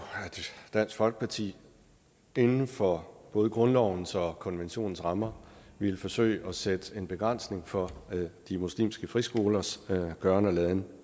dansk folkeparti inden for både grundlovens og konventionens rammer ville forsøge at sætte en begrænsning for de muslimske friskolers gøren og laden